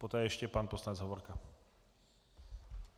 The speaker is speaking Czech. Poté ještě pan poslanec Hovorka.